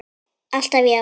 Alltaf já.